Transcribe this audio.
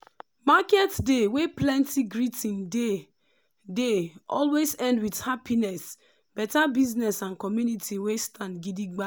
market day wey plenty greeting dey dey always end with happiness better business and community wey stand gidigba.